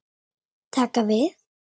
Taka við?